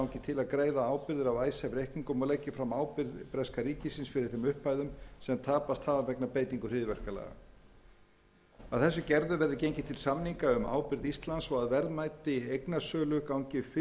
af icesave reikningum og leggi fram ábyrgð breska ríkisins fyrir þeim upphæðum sem tapast hafa vegna beitingar hryðjuverkalaga að þessu gerðu verði gengið til samninga um ábyrgð íslands og að verðmæti eignasölu gangi fyrst á móti ábyrgðum sem íslendingar taka